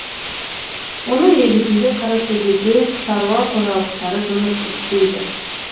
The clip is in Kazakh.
оның негізінде қаратөбеде шаруа қожалықтары жұмыс істейді